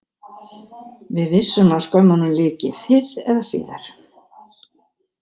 Við vissum að skömmunum lyki fyrr eða síðar.